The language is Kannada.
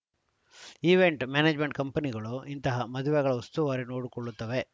ಈವೆಂಟ್‌ ಮ್ಯಾನೇಜ್‌ಮೆಂಟ್‌ ಕಂಪನಿಗಳು ಇಂತಹ ಮದುವೆಗಳ ಉಸ್ತುವಾರಿ ನೋಡಿಕೊಳ್ಳುತ್ತವೆ